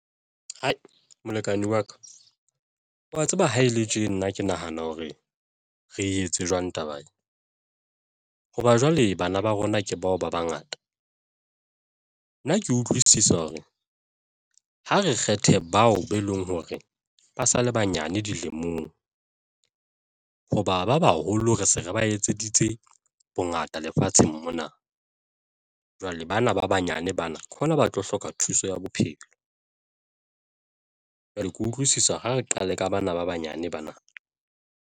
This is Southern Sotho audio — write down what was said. Molekane wa ka wa tseba ha e le tje nna ke nahana hore re etse jwang taba hoba jwale bana ba rona ke bao ba bangata. Nna ke utlwisisa hore ha re kgethe bao be leng hore ba sale banyane dilemong hoba ba baholo, re se re ba etseditse bongata lefatsheng mona. Jwale bana ba banyane bana, ke hona ba tlo hloka thuso ya bophelo. Jwale ke utlwisisa ho re qale ka bana ba banyane bana.